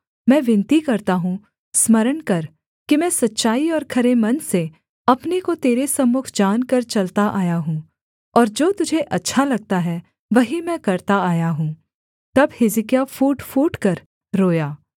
मैं विनती करता हूँ स्मरण कर कि मैं सच्चाई और खरे मन से अपने को तेरे सम्मुख जानकर चलता आया हूँ और जो तुझे अच्छा लगता है वही मैं करता आया हूँ तब हिजकिय्याह फूट फूटकर रोया